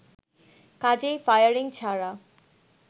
কাজেই ফায়ারিং ছাড়া